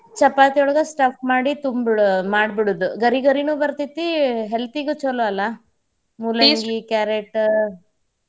ಚಪಾತಿಯೊಳಗ stuff ಮಾಡಿ ತುಂಬಿ ಬಿಡೋ ಮಾಡಿ ಬಿಡೋದ್ ಗರಿಗರಿನೂ ಬರ್ತೇತಿ health ಗೂ ಚುಲೋ ಅಲ್ಲಾ ಮೂಲಂಗಿ, carrot .